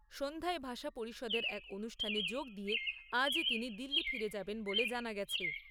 সন্ধ্যায় ভাষা পরিষদের এক অনুষ্ঠানে যোগ দিয়ে আজই তিনি দিল্লি ফিরে যাবেন বলে জানা গেছে।